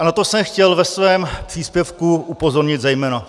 A na to jsem chtěl ve svém příspěvku upozornit zejména.